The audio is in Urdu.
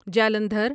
جالندھر